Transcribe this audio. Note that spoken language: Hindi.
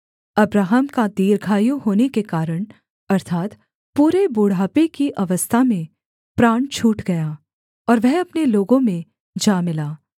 अब्राहम का दीर्घायु होने के कारण अर्थात् पूरे बुढ़ापे की अवस्था में प्राण छूट गया और वह अपने लोगों में जा मिला